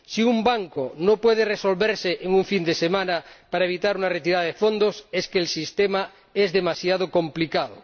Si un banco no puede resolverse en un fin de semana para evitar una retirada de fondos es que el sistema es demasiado complicado.